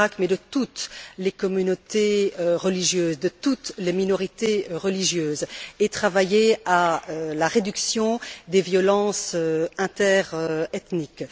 de toutes les communautés religieuses et de toutes les minorités religieuses, et travailler à la réduction des violences interethniques.